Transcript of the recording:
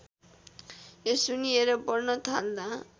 यो सुन्निएर बढ्न थाल्दा